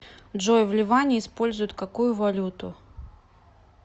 джой в ливане используют какую валюту